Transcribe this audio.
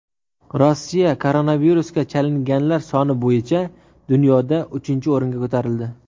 Rossiya koronavirusga chalinganlar soni bo‘yicha dunyoda uchinchi o‘ringa ko‘tarildi.